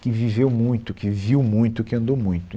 que viveu muito, que viu muito, que andou muito.